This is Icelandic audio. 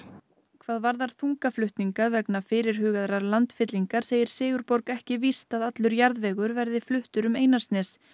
hvað varðar þungaflutninga vegna fyrirhugaðrar landfyllingar segir Sigurborg ekki víst að allur jarðvegur verði fluttur um Einarsnes